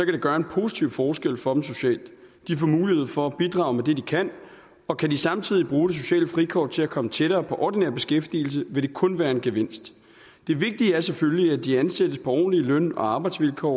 det gøre en positiv forskel for dem socialt de får mulighed for at bidrage med det de kan og kan de samtidig bruge det sociale frikort til at komme tættere på ordinær beskæftigelse vil det kun være en gevinst det vigtige er selvfølgelig at de ansættes på ordentlige løn og arbejdsvilkår